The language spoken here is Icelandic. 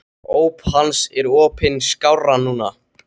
Óp hans er opin skárra nú.